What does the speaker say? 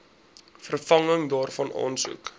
vervanging daarvan aansoek